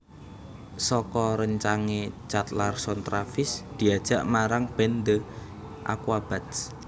Saka réncange Chad Larson Travis diajak marang band The Aquabats